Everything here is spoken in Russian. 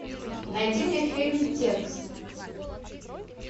найди мне фильм текст